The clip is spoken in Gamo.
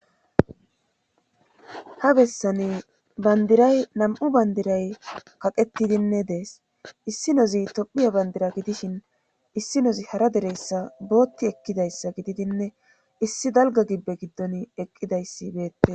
ha bessani bandiray nam7u bandiray kaqettidinne dees issi nozi tophiya bandira gidishin issi nozi hara deressa bootti ekkidayssa gididinne issi dalga gibbe giddon eqqidayssi beette